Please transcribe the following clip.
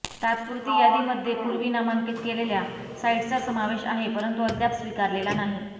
तात्पुरती यादीमध्ये पूर्वी नामांकित केलेल्या साइट्सचा समावेश आहे परंतु अद्याप स्विकारलेला नाही